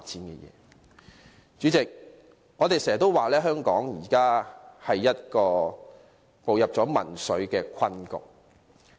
代理主席，我們經常說，香港現已步入民粹的困局。